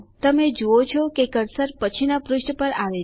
તમે જુઓ છો કે કર્સર પછીના પુષ્ઠ પર આવે છે